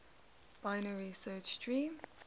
binary search tree